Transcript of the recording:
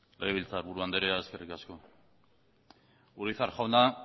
legebiltzarburu andrea eskerrik asko urizar jauna